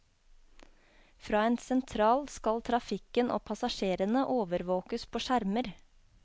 Fra en sentral skal trafikken og passasjerene overvåkes på skjermer.